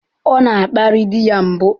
Ọ na-akparị di ya mbụ.